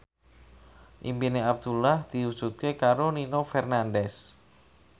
impine Abdullah diwujudke karo Nino Fernandez